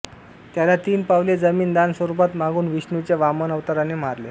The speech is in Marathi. त्याला तिन पावले जमिन दान स्वरुपात मागून विष्णूच्या वामन अवताराने मारले